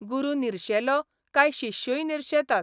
गुरू निर्शेलो काय शिष्यूय निर्शेतात.